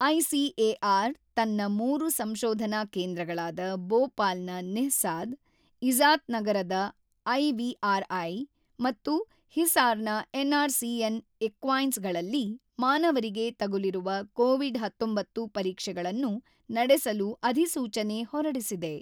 ICAR ತನ್ನ ಮೂರು ಸಂಶೋಧನಾ ಕೇಂದ್ರಗಳಾದ ಬೋಪಾಲ್ ನ ನಿಹ್ಸಾದ್, ಇಝಾತ್ ನಗರದ ಐವಿಆರ್ ಐ ಮತ್ತು ಹಿಸಾರ್ ನ N R C on equines ಗಳಲ್ಲಿ ಮಾನವರಿಗೆ ತಗುಲಿರುವ ಕೋವಿಡ್ ೧೯ ಪರೀಕ್ಷೆಗಳನ್ನು ನಡೆಸಲು ಅಧಿಸೂಚನೆ ಹೊರಡಿಸಿದೆ.